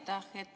Aitäh!